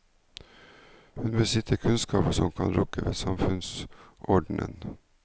Hun besitter kunnskaper som kan rokke ved samfunnsordenen.